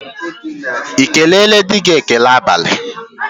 Ị keleela di gị​ ekele abalị?